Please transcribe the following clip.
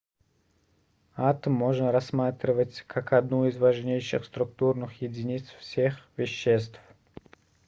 атом можно рассматривать как одну из важнейших структурных единиц всех веществ